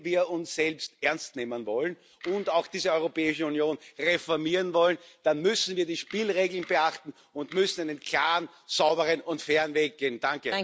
Wenn wir uns selbst ernst nehmen wollen und auch diese Europäische Union reformieren wollen, dann müssen wir die Spielregeln beachten und müssen einen klaren, sauberen und fairen Weg gehen.